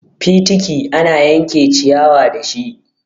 Fitiki ana yanke ciyawa dashi.